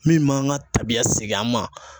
Min m'an ka tabiya segin an ma.